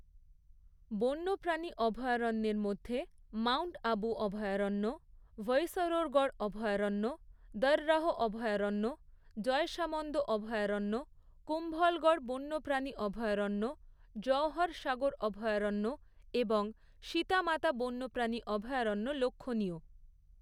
বন্যপ্রাণী অভয়ারণ্যের মধ্যে মাউন্ট আবু অভয়ারণ্য, ভৈসরোরগড় অভয়ারণ্য, দর্‌রাহ অভয়ারণ্য, জয়সামন্দ অভয়ারণ্য, কুম্ভলগড় বন্যপ্রাণী অভয়ারণ্য, জওহর সাগর অভয়ারণ্য এবং সীতা মাতা বন্যপ্রাণী অভয়ারণ্য লক্ষণীয়।